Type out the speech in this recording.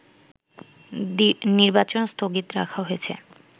নির্বাচন স্থগিত রাখা হয়েছে